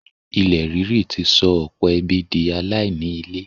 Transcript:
ilẹ̀ ríri ti sọ ọ̀pọ̀ ẹbí di aláìní ilé.